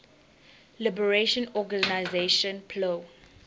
liberation organization plo